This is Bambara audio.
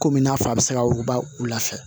Komi i n'a fɔ a bɛ se ka wuguba u lafiya